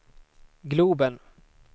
globen